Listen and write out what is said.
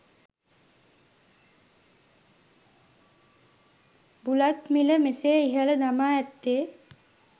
බුලත් මිල මෙසේ ඉහළ දමා ඇත්තේ